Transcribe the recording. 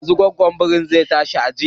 Yanzun nan gwaggon birin ya tsallake wancan ginin